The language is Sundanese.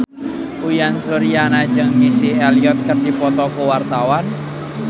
Uyan Suryana jeung Missy Elliott keur dipoto ku wartawan